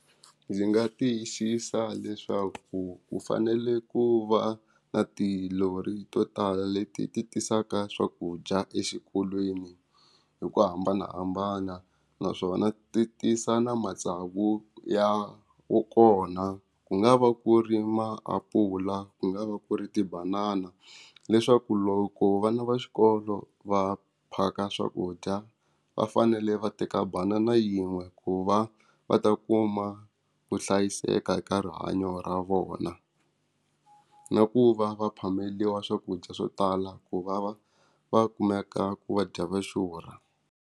Ndzi nga tiyisisa leswaku ku fanele ku va na tilori to tala leti ti tisaka swakudya exikolweni hi ku hambanahambana naswona ti tisa na matsavu ya wo kona ku nga va ku ri maapula ku nga va ku ri tibanana leswaku loko vana va xikolo va phaka swakudya va fanele va teka banana yin'we ku va va ta kuma ku hlayiseka eka rihanyo ra vona na ku va va phameriwa swakudya swo tala ku va va va kumeka ku vadya va xurha.